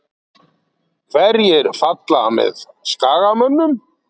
Hverjir falla með Skagamönnum?